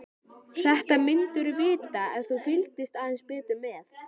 Þetta myndirðu vita ef þú fylgdist aðeins betur með.